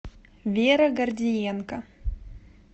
вера гордиенко